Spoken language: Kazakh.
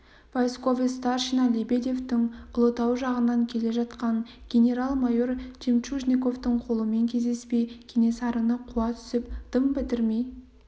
войсковой старшина лебедевтің ұлытау жағынан келе жатқан генерал-майор жемчужниковтің қолымен кездеспей кенесарыны қуа түсіп дым бітірмей